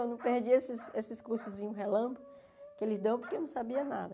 Eu não perdi esses esses cursozinhos relâmpago, porque eu não sabia nada.